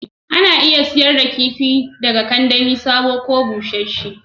Ana iya sayar da kifi daga kandami sabo ne ko busassun